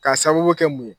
K'a sababu kɛ mun ye